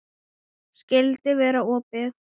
Skyldi vera opið?